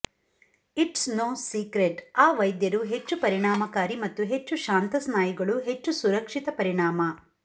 it's no secret ಆ ವೈದ್ಯರು ಹೆಚ್ಚು ಪರಿಣಾಮಕಾರಿ ಮತ್ತು ಹೆಚ್ಚು ಶಾಂತ ಸ್ನಾಯುಗಳು ಹೆಚ್ಚು ಸುರಕ್ಷಿತ ಪರಿಣಾಮ